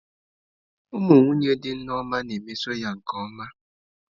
Ụmụ nwunye dị Nneoma na-emeso ya nke ọma.